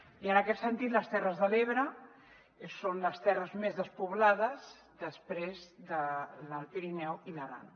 i en aquest sentit les terres de l’ebre són les terres més despoblades després de l’alt pirineu i l’aran